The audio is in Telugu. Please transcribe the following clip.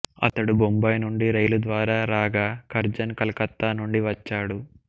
అతడు బొంబాయి నుండి రైలు ద్వారా రాగా కర్జన్ కలకత్తా నుండి వచ్చాడు